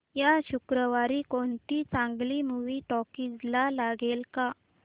या शुक्रवारी कोणती चांगली मूवी टॉकीझ ला लागेल का